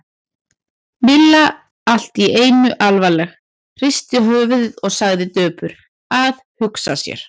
Milla allt í einu alvarleg, hristi höfuðið og sagði döpur: Að hugsa sér.